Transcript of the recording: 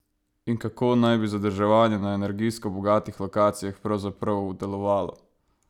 In kako naj bi zadrževanje na energijsko bogatih lokacijah pravzaprav delovalo?